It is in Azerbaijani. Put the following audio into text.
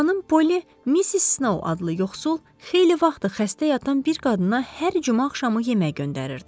Xanım Polli Miss Snow adlı yoxsul, xeyli vaxtdır xəstə yatan bir qadına hər cümə axşamı yemək göndərirdi.